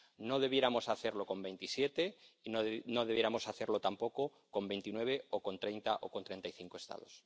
No debiéramos hacerlo con 27 y no debiéramos hacerlo tampoco con 29 o con 30 o con 35 Estados.